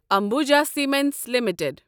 Ambuja cements limited